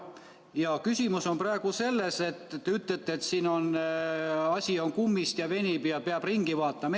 Ja küsimus on praegu selles, et te ütlete, et siin on asi kummist ja venib ja peab ringi vaatama.